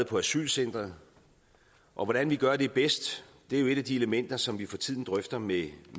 på asylcentret og hvordan vi gør det bedst er jo et af de elementer som vi for tiden drøfter med